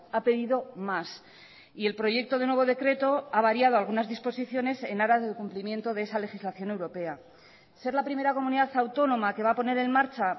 ha pedido más y el proyecto de nuevo decreto ha variado algunas disposiciones en aras del cumplimiento de esa legislación europea ser la primera comunidad autónoma que va a poner en marcha